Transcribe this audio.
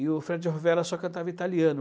E o Fred Rovella só cantava italiano.